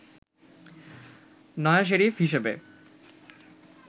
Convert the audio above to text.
নয়া শেরিফ হিসেবে